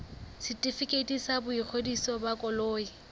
setefikeiti sa boingodiso ba koloi